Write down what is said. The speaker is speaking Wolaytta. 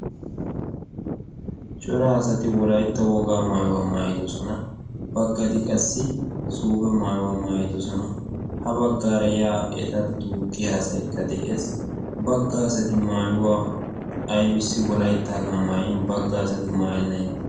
cora asati wolaytta wogaa maayuwaa maayidosona baggati qassi suuphe maayuwaa maayidosona ha baggaara yaa eta duuqqiya asayikka de'ees baggaa asati maayuwaa aybbissi wolayttaaga maayi baggaa asati maayannayeetta